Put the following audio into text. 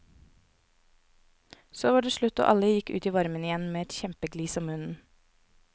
Så var det slutt og alle gikk ut i varmen igjen med et kjempeglis om munnen.